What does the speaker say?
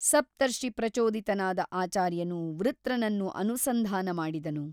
ಸಪ್ತರ್ಷಿಪ್ರಚೋದಿತನಾದ ಆಚಾರ್ಯನು ವೃತ್ರನನ್ನು ಅನುಸಂಧಾನ ಮಾಡಿದನು.